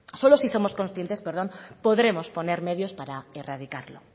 solo si somos conscientes podremos poner medios para erradicarlo